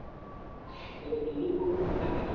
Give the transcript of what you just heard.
પેલો જુલીશ મેતો કી ધુ ન